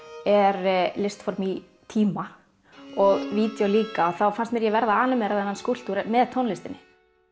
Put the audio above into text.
er listform í tíma og vídeó líka þá fannst mér ég verða að animera þennan skúlptúr með tónlistinni